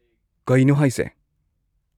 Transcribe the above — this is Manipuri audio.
ꯀꯩꯅꯣ ꯍꯥꯏꯁꯦ!